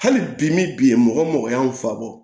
Hali bi min bi mɔgɔ o mɔgɔ y'an fa bɔ